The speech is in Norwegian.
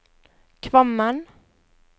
Kvammen